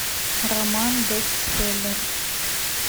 роман бестселлер